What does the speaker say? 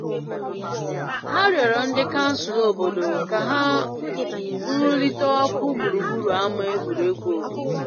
Ha rịọrọ ndị kansụl obodo ka ha nrulite ọkụ gburugburu ama egwuregwu obodo.